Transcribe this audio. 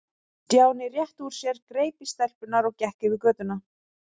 Stjáni rétti úr sér, greip í stelpurnar og gekk yfir götuna.